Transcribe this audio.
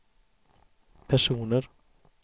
personer